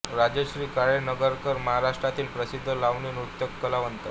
राजश्री काळे नगरकर महाराष्ट्रातील प्रसिद्ध लावणी नृत्य कलावंत